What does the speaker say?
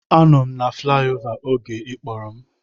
Anọ m na flayova oge ị kpọrọ m